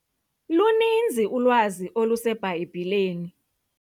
Luninzi ulwazi oluseBhayibhileni.